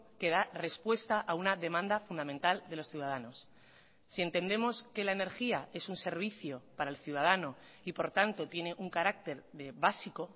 que da respuesta a una demanda fundamental de los ciudadanos si entendemos que la energía es un servicio para el ciudadano y por tanto tiene un carácter de básico